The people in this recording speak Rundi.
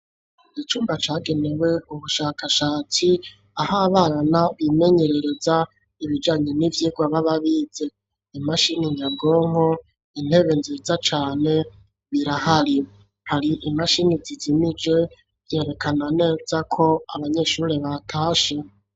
Icumba cagenewe ubushakashatsi ah'abana bimenyerereza ibijanye n'ivyigwa bababize ,imashini nyabwonko intebe nziza cane birahari, hari imashini zizimije vyerekana neza ko abanyeshuri batashe.